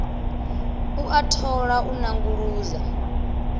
u a thola u nanguludza